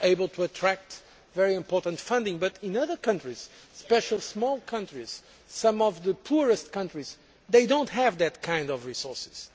They are able to attract very important funding, but in other countries, especially small countries and some of the poorest countries, they do not have those kinds of resources.